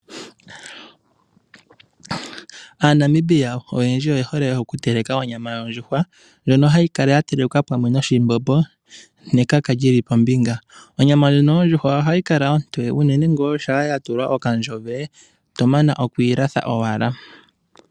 AaNamibia oyendji oye hole okuteleka onyama yondjuhwa ndjono hayi kala ya telekwa pamwe noshimbombo nekaka li li pombinga. Onyama ndjono yondjuhwa ohayi kala ontoye unene ngaa shampa ya tulwa omagadhi goongongo oto mana okwiilatha owala.